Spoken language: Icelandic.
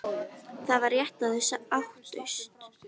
Það var rétt að þau áttust.